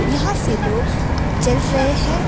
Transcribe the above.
यहाँ से लोग चल रहे हैं।